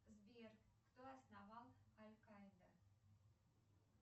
сбер кто основал алькаида